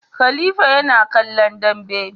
Khalifa yana kallon Dambe